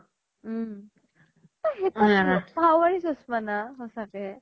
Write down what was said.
উম সেই জুৰ power ৰি চস্মা না স্চাকে